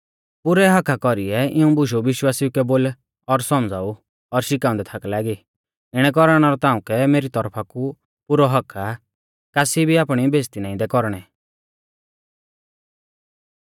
पुरै हक्‍का कौरीऐ इऊं बुशु विश्वासिऊ कै बोल और सौमझ़ाऊ और शिखाउंदै थाक लागी इणै कौरणै रौ ताउंकै मेरी तौरफा कु पुरौ हक्क आ कासी भी आपणी बेइज़्ज़ती नाईं दै कौरणै